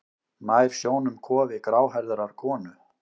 Nær sjónum kofi gráhærðrar konu.